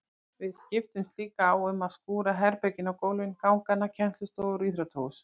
Við skiptumst líka á um að skúra herbergin á kvöldin, gangana, kennslustofur og íþróttahús.